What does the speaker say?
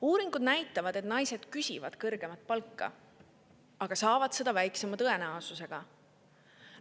Uuringud näitavad, et naised küsivad kõrgemat palka, aga saavad seda väiksema tõenäosusega.